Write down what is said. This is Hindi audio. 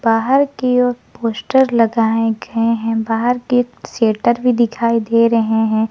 बाहर की ओर पोस्टर लगाए गए हैं बाहर के शेटर भी दिखाई दे रहे हैं।